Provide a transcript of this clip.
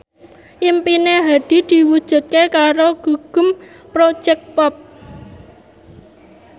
impine Hadi diwujudke karo Gugum Project Pop